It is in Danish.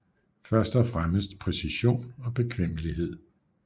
Først og fremmest præcision og bekvemmelighed